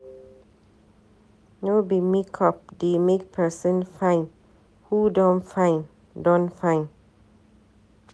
No be make up dey make pesin fine, who don fine don fine.